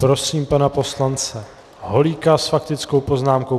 Prosím pana poslance Holíka s faktickou poznámkou.